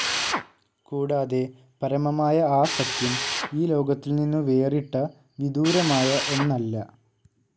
കൂടാതെ, പരമമായ ആ സത്യം, ഈ ലോകത്തിൽ നിന്നു വേറിട്ട, വിദൂരമായ ഒന്നല്ല.